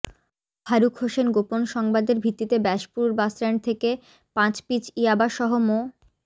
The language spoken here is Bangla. ফারুক হোসেন গোপন সংবাদের ভিত্তিতে ব্যাসপুর বাসস্ট্যান্ড থেকে পাঁচ পিচ ইয়াবাসহ মো